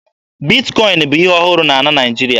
Bitkọin bụ ihe ọhụrụ na Naịjirịa